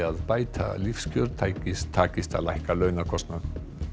að bæta lífskjör takist takist að lækka kostnaðinn